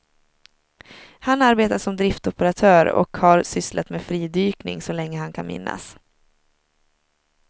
Han arbetar som driftoperatör och har sysslat med fridykning så länge han kan minnas.